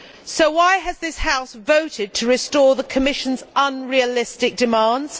So why has this House voted to restore the Commission's unrealistic demands?